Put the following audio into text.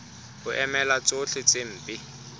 ho emela tsohle tse mpe